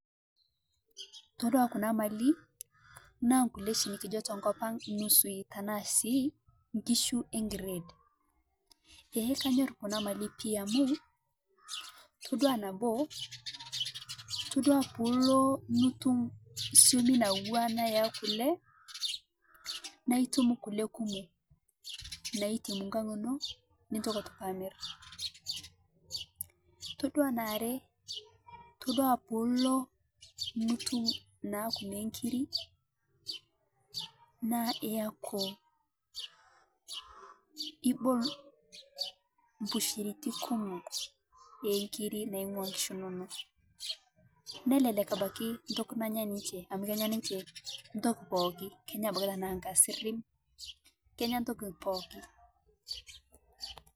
Todua kunaa mali naa nkulieshii nikijo tokopang' nusui tanaa sii nkishu eekired, eeeh kanyor kunaa malii amuu todua naboo todua puulo nutum siomi nawua ana eeh kule naaitum kule kumoo naitemu nkang' inoo nitoki aitoki amri ,todua nearee todua tunulo atum naaku nekiri naa iyaku ibol mbushiriti kumoo eekiri naing'ua nkishu inonoo nelelek abaki toki nanya ninche amu kenyaa ninche ntoki pookii kenya abaki tanaa nkasirim kenyaa toki pooki.